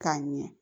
K'a ɲɛ